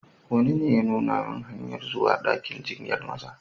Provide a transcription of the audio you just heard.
Wani ne ya nuna min hanyar zuwa dakin jinyar Maza.